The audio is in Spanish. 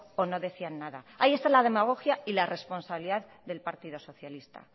o no decían nada ahí está la demagogia y la responsabilidad del partido socialista